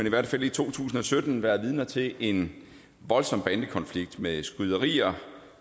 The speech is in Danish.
i hvert fald i to tusind og sytten været vidner til en voldsom bandekonflikt med skyderier